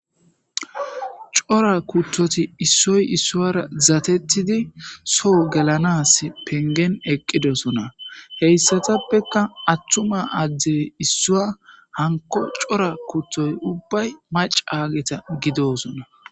cora kuttoti issoy issuara zatettidi soo gelanas pengen eqqidosona heyssatappekka attuma addey issua hanko cora kuttoy ubbay mac aageta gidosona